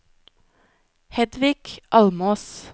Hedvig Almås